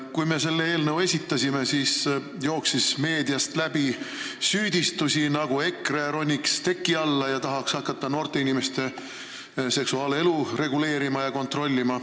Kui me selle eelnõu esitasime, siis jooksis meediast läbi süüdistusi, et EKRE ronib teki alla ja tahab hakata noorte inimeste seksuaalelu reguleerima ja kontrollima.